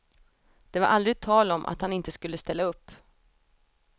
Det var aldrig tal om att han inte skulle ställa upp.